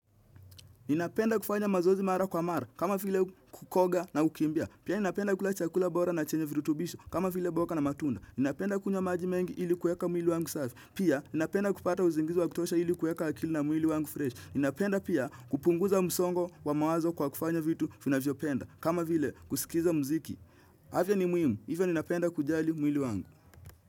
Ninapenda kufanya mazoezi mara kwa mara kama vile kukoga na kukimbia Pia ninapenda kula chakula bora na chenye virutubisho kama vile boga na matunda Ninapenda kunywa maji mengi ili kueka mwili wangu safi Pia ninapenda kupata uzingizi wa kutosha ili kueka akili na mwili wangu fresh Ninapenda pia kupunguza msongo wa mawazo kwa kufanya vitu vinavyopenda kama vile kusikiza mziki afya ni muhimu, hivyo ninapenda kujali mwili wangu.